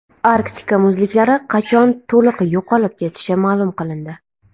Arktika muzliklari qachon to‘liq yo‘qolib ketishi ma’lum qilindi.